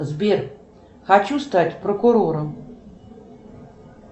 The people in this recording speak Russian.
сбер хочу стать прокурором